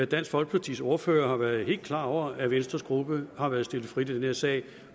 dansk folkepartis ordfører har været helt klar over at venstres gruppe har været stillet frit i den her sag